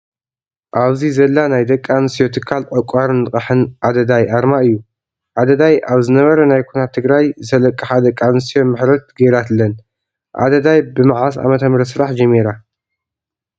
ኣብዚ ዘላ ናይ ደቂ ኣንስትዮ ትካል ዕቋርን ልቃሕ ኣዳዳይ ኣርማ እዩ። ኣዳዳይ ኣብ ዝነበረ ናይ ኩናት ትግራይ ዝተለቃሓ ደቂ ኣንስትዮ ምሕረት ገራትለን ። ኣዳዳይ ብመዓስ ዓ.ም ስራሕ ጀሚራ?